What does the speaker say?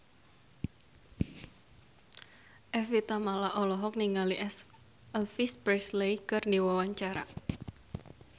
Evie Tamala olohok ningali Elvis Presley keur diwawancara